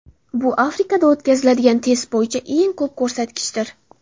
Bu Afrikada o‘tkazilgan test bo‘yicha eng ko‘p ko‘rsatkichdir.